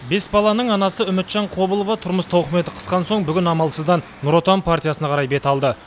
бес баланың анасы үмітжан қобылова тұрмыс тауқыметі қысқан соң бүгін амалсыздан нұр отан партиясына қарай бет алды